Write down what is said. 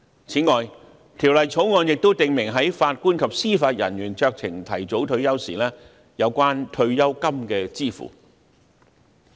此外，《條例草案》亦訂明法官及司法人員在酌情提早退休時有關退休金的支付事宜。